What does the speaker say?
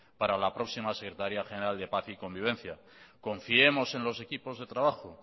para la próxima secretaría general de paz y convivencia confiemos en los equipos de trabajo